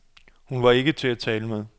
Hun var ikke til at tale med.